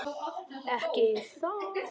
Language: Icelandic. Ekki það.?